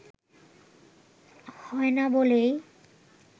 হয় না বলেই